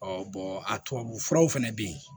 a tubabufuraw fɛnɛ be yen